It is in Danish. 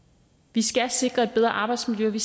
vi skal sikre et bedre arbejdsmiljø og vi